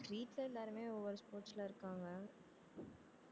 வீட்ல எல்லாருமே ஒவ்வொரு sports ல இருக்காங்க